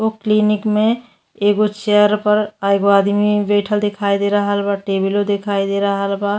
उ क्लिनिक मे एगो चेयर पर एगो आदमी बैठल दिखाई दे रहल बा। टेबलो दिखाई दे रहल बा।